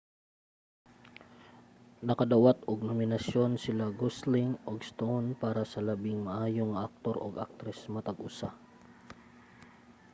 nakadawat og nominasyon sila gosling ug stone para sa labing maayo nga aktor ug aktres matag usa